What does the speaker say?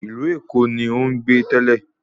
Ìlú Èkó ni ó ń gbé tẹ́lẹ̀